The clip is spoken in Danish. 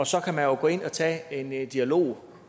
så kan man jo gå ind og tage en en dialog